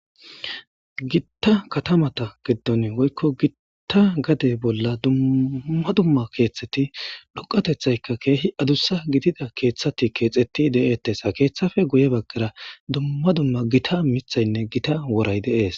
gitta katamata giddon woykko gitta gade bolla dumma dumma keethteti doqatethayka keehi adussa gidida keeththati keexeti de7eettessa keeththafe guye baggara dumma dumma gita mithaynne gita woray de7ees